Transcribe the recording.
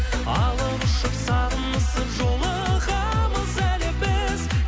алып ұшып сағынысып жолығамыз әлі біз